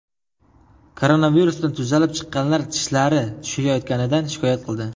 Koronavirusdan tuzalib chiqqanlar tishlari tushayotganidan shikoyat qildi.